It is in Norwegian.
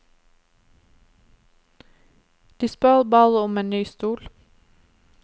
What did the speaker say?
De spør bare om en ny stol.